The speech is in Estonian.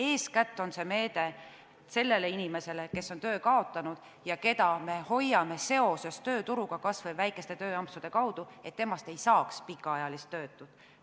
Eeskätt on see meede sellele inimesele, kes on töö kaotanud ja keda me hoiame seoses tööturuga, kas või väikeste tööampsude kaudu, et temast ei saaks pikaajalist töötut.